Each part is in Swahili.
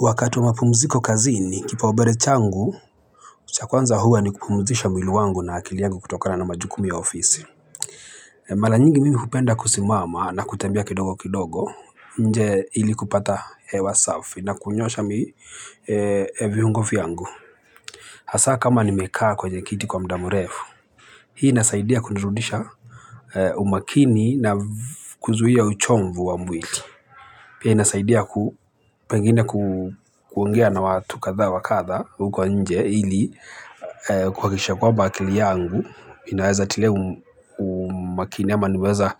Wakati wa mapumziko kazini, kipaumbele changu, cha kwanza huwa ni kupumzisha mwili wangu na akili yangu kutokana na majukumu ya ofisi. Mara nyingi mimi hupenda kusimama na kutembea kidogo kidogo nje, ili kupata hewa safi na kunyoosha viungo vyangu. Hasa kama nimekaa kwenye kiti kwa muda mrefu, hii inasaidia kunirudisha umakini na kuzuia uchovu wa mwili. Pia inasaidia pengine kuongea na watu kadha wa kadha huko nje ili kuhakikisha kwamba akili yangu inaweza tilia umakini ama niweze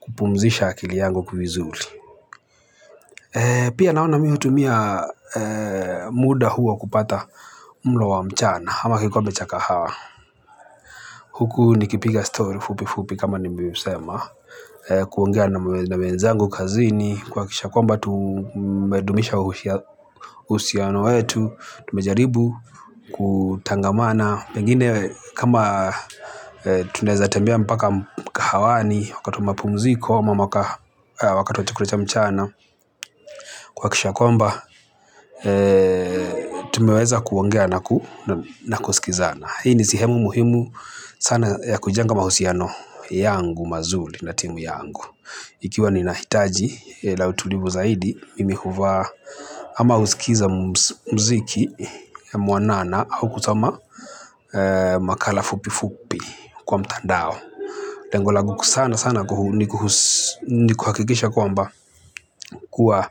kupumzisha akili yangu vizuri. Pia naona mimi hutumia muda huo kupata mlo wa mchana ama kikombe cha kahawa. Huku nikipiga story fupi fupi kama nilivyosema. Kuongea na wenzangu kazini kuhakikisha kwamba tumedumisha uhusiano wetu. Tumejaribu kutangamana pengine kama tunaweza tembea mpaka mkahawani wakati wa mapumziko, wakati wa chakula cha mchana kwa kisha kwamba tumweweza kuongea na kusikizana. Ikiwa ninahitaji utulivu zaidi, mimi huvaa ama husikiza muziki mwanana au kusoma makala fupi fupi kwa mtandao. Tengo langu sana sana ni kuhakikisha kwamba kuwa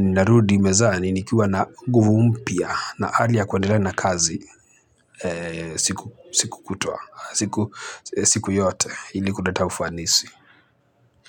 ninarudi mezani nikiwa na nguvu mpya na hali ya kuendelea na kazi siku yote ili kuleta ufanisi.